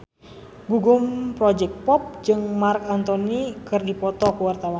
Gugum Project Pop jeung Marc Anthony keur dipoto ku wartawan